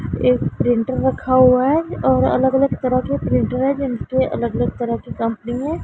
एक प्रिंटर रखा हुआ है और अलग अलग तरह की प्रिंटरे है अलग अलग तरह की कंपनी है।